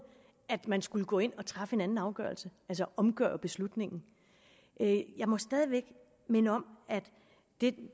at man skulle gå ind og træffe en anden afgørelse altså omgøre beslutningen jeg må stadig væk minde om at det